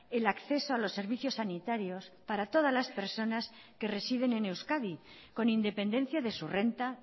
el acceso a los servicios sanitarios para todas las personas que residen en euskadi con independencia de su renta